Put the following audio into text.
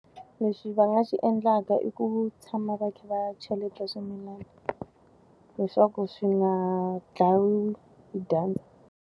Lexi va nga xi endlaka i ku tshama va kha va cheleta swimilana. Leswaku swi nga dlayiwi hi dyandza.